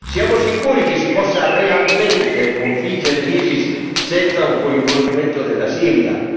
Siamo sicuri che si possa realmente sconfiggere l'ISIS senza un coinvolgimento della Siria?